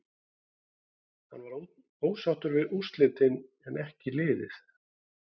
Hann var ósáttur við úrslitin en en ekki liðið.